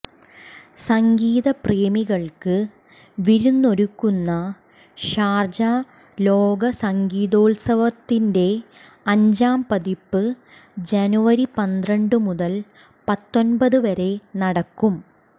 സംഗീതപ്രേമികൾക്ക് വിരുന്നൊരുക്കുന്ന ഷാർജ ലോക സംഗീതോത്സവത്തിന്റെഅഞ്ചാം പതിപ്പ് ജനുവരി പന്ത്രണ്ടു മുതൽ പത്തൊൻപതു വരെ നടക്കും